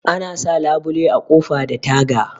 Ana sa labule a ƙofa da taga